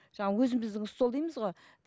жаңағы өзіміздің стол дейміз ғой